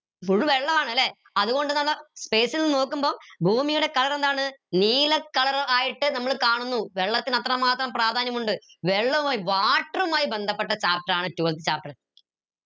വെള്ളാണല്ലെ അത്കൊണ്ട് space ൽ നിന്ന് നോക്കുമ്പോ ഭൂമിയുടെ colour എന്താണ് നീല colour ആയിട്ട് നമ്മൾ കാണുന്നു വെള്ളത്തിന് അത്രമാത്രം പ്രാധാന്യമുണ്ട് വെള്ളവുമായി water മായി ബന്ധപ്പെട്ട chapter ആണ് twelfth chapter